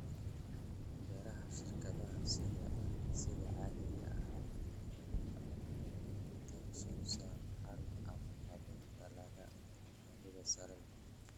Beeraha shirkadaha sida caadiga ah waxay ku takhasusaan hal ama laba dalagga baahida sare leh.